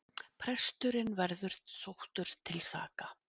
Presturinn verði sóttur til saka